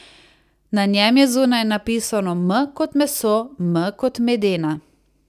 Na njem je zunaj napisano M kot meso, M kot Medena.